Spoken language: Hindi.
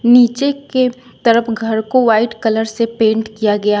नीचे के तरफ घर को व्हाइट कलर से पेंट किया गया--